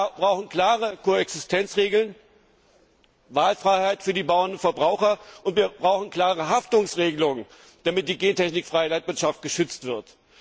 Wir brauchen klare Koexistenzregeln, Wahlfreiheit für die Bauern und die Verbraucher, und wir brauchen klare Haftungsregelungen, damit die gentechnikfreie Landwirtschaft geschützt wird.